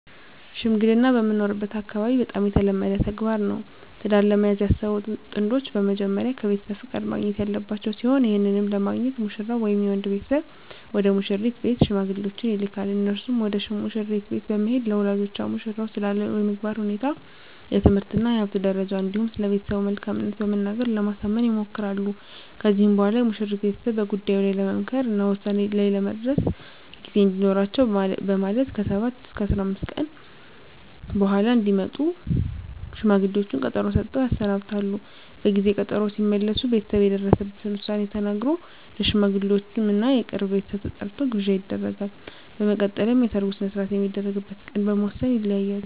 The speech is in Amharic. ሽምግልና በምኖርበት አካባቢ በጣም የተለመደ ተግባር ነው። ትዳር ለመያዝ ያሰቡ ጥንዶች በመጀመሪያ ከቤተሰብ ፍቃድ ማግኘት ያለባቸው ሲሆን ይህንንም ለማግኘት ሙሽራው ወይም የወንድ ቤተሰብ ወደ ሙሽሪት ቤት ሽማግሌዎችን ይልካል። እነርሱም ወደ መሽሪት ቤት በመሄድ ለወላጆቿ ሙሽራው ስላለው የስነምግባር ሁኔታ፣ የትምህርት እና የሀብት ደረጃ እንዲሁም ስለቤተሰቡ መልካምት በመናገር ለማሳመን ይሞክራሉ። ከዚህም በኋላ የሙሽሪት ቤተሰብ በጉዳዩ ላይ ለመምከር እና ውሳኔ ላይ ለመድረስ ጊዜ እንዲኖራቸው በማለት ከ7 ወይም 15 ቀን በኃላ እንዲመጡ ሽማግሌዎቹን ቀጠሮ ሰጥተው ያሰናብታሉ። በጊዜ ቀጠሮው ሲመለሱ ቤተሰብ የደረሰበትን ዉሳኔ ተናግሮ፣ ለሽማግሌወቹም እና የቅርብ ቤተሰብ ተጠርቶ ግብዣ ይደረጋል። በመቀጠልም የሰርጉ ሰነሰርአት የሚደረግበት ቀን በመወስን ይለያያሉ።